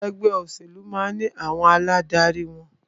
Ẹgbẹ́ òṣèlú máà ní àwọn aládarí wọn.